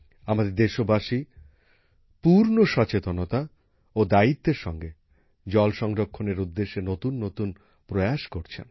আমাদের দেশবাসী পূর্ণ সচেতনতা ও দায়িত্বের সঙ্গে জল সংরক্ষণের উদ্দেশ্যে নতুননতুন প্রয়াস করছেন